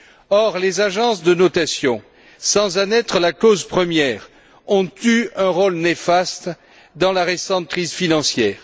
Or, les agences de notation, sans en être la cause première, ont eu un rôle néfaste dans la récente crise financière.